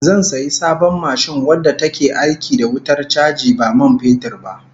Zan sayi sabon mashin wadda take aiki da wutar chaji ba man fetur ba